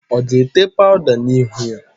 Ọ ga-ete paụda n'ihu ya?